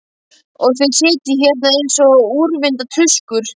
Og þið sitjið hérna eins og úrvinda tuskur!